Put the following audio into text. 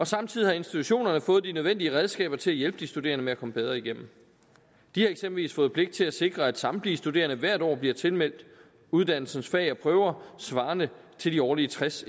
samtidig har institutionerne fået de nødvendige redskaber til at hjælpe de studerende med at komme bedre igennem de har eksempelvis fået pligt til at sikre at samtlige studerende hvert år bliver tilmeldt uddannelsens fag og prøver svarende til de årlige tres